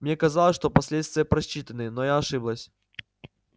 мне казалось что последствия просчитаны но я ошиблась